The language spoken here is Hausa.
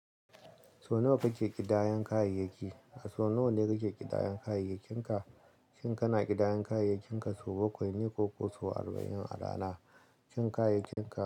So nawa kake ƙidayan kayayyaki? A so nawa ne kake ƙidayan kayayyakinka? Shin kana ƙidayan kayayyakinka sau bakwai ne ko sau arba'in a rana? Shin kayayyakinka.